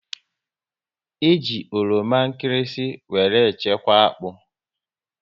E ji oroma nkịrịsị were chekwa akpụ